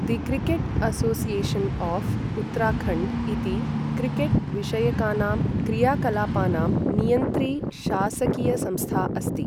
The cricket association of Uttarakhand इति cricket विषयकानां क्रियाकलापानां नियन्त्री शासकीयसंस्था अस्ति।